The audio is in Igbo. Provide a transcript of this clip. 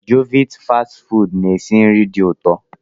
Jovit fast ị fụdu na-esi nri dị ụtọ.